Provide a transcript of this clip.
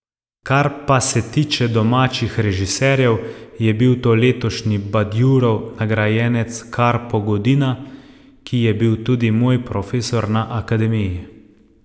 Kar pa se tiče domačih režiserjev, je bil to letošnji Badjurov nagrajenec Karpo Godina, ki je bil tudi moj profesor na akademiji.